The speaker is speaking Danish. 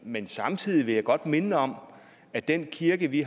men samtidig vil jeg godt minde om at den kirke vi